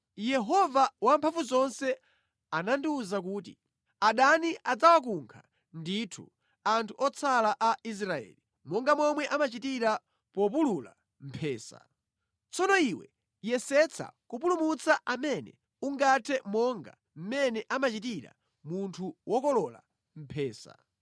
Yehova Wamphamvuzonse anandiwuza kuti, “Adani adzawakunkha ndithu anthu otsala a Israeli, monga momwe amachitira populula mphesa. Tsono iwe yesetsa kupulumutsa amene ungathe monga mmene amachitira munthu wokolola mphesa.”